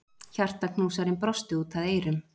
Hjartaknúsarinn brosti út að eyrum.